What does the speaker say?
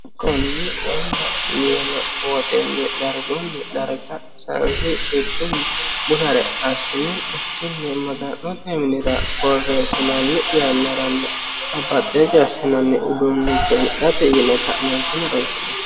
konni gamba yiino woxinni dargunni darga sayiinsikki bushare assinikkinni maga'note minira borreessinanni yannara babbaxino dani uduunnicho hidhate yine assinanni.